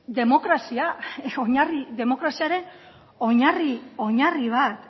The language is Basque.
demokraziaren oinarri oinarri bat